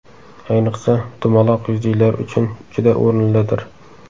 Ayniqsa, dumaloq yuzlilar uchun juda o‘rinlidir.